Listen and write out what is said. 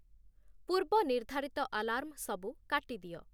ପୂର୍ବ ନିର୍ଦ୍ଧାରିତ ଆଲାର୍ମ ସବୁ କାଟିଦିଅ।